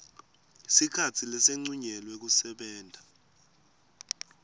sikhatsi lesincunyelwe kusebenta